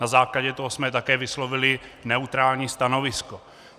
Na základě toho jsme také vyslovili neutrální stanovisko.